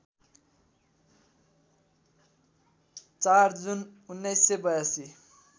४ June १९८२